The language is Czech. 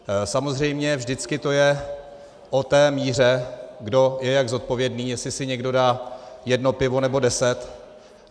Samozřejmě vždycky to je o té míře, kdo je jak zodpovědný, jestli si někdo dá jedno pivo, nebo deset.